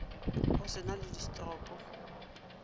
go se na le distopo